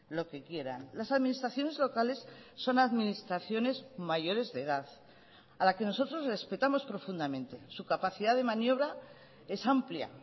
lo que quieran las administraciones locales son administraciones mayores de edad a la que nosotros respetamos profundamente su capacidad de maniobra es amplia